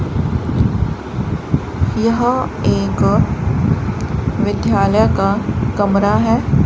यह एक विद्यालय का कमरा है।